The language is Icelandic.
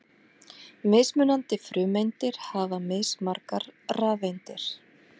Mismunandi frumeindir hafa mismargar rafeindir.